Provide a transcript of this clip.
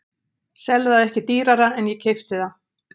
Sel það ekki dýrara en ég keypti það.